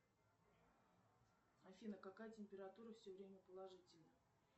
афина какая температура все время положительная